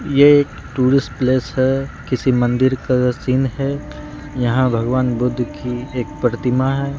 ये एक tourist place है किसी मंदिर का सीन है यहां भगवान बुद्ध की एक प्रतिमा है।